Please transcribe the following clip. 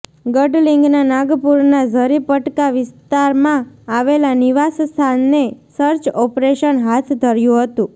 ગડલિંગના નાગપુરના ઝરીપટકા વિસ્તામાં આવેલા નિવાસસ્થાને સર્ચ ઓપરેશન હાથ ધર્યું હતું